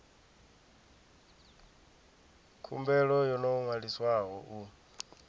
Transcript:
khumbelo yo no ṅwaliswaho u